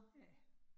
Ja